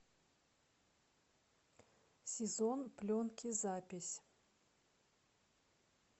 сезон пленки запись